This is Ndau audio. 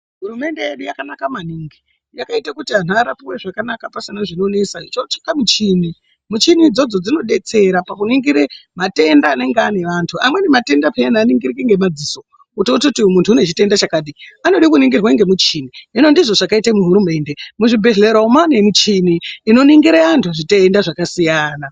Hurumende yedu yakanaka maningi yakaite kuti vantu varapive pasina zvinonesa ichitsvaka michini. michini idzodzo dzinobetsera pakuningire matenda anenge ane vantu amweni matenda peyani haningiriki ngemadziso kuti atoti iyu muntu ynechitenda chakati. Anode kunongirwa ngemuchini hino ndizvo zvakaite hurumende muzvibhedhlera umu mane michini inoningira antu zvitenda zvakasiyana.